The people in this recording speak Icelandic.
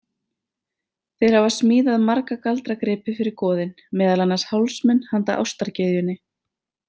Þeir hafa smíðað marga galdragripi fyrir goðin, meðal annars hálsmen handa ástargyðjunni.